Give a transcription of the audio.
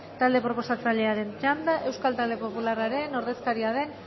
talde proposatzaileren txanda euskal talde popularraren ordezkaria den